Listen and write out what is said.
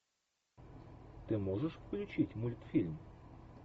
ты можешь включить мультфильм